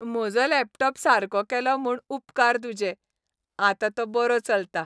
म्हजो लॅपटॉप सारको केलो म्हूण उपकार तुजे. आतां तो बरो चलता.